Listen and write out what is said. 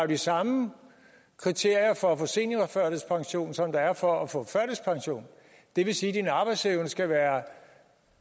de samme kriterier for at få seniorførtidspension som der er for at få førtidspension det vil sige at din arbejdsevne skal være